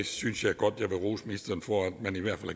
synes jeg godt vil rose ministeren for at han i hvert fald